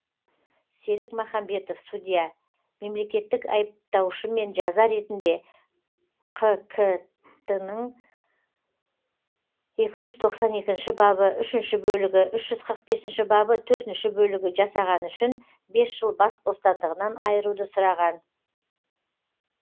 серік махамбетов судья мемлекеттік айыптаушымен жаза ретінде қк тінің екі жүз тоқсан екінші бабы үшінші бөлігі үш жүз қырық бесінші бабы төртінші бөлігі жасағаны үшін бес жыл бас бостандығынан айыруды сұраған